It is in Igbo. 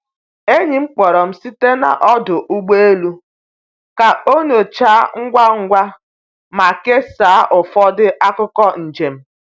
Enyi m kpọrọ m site n’ ọdụ ụgbọ elu ka ọ nyochaa ngwa ngwa ma kesaa ụfọdụ akụkọ njem.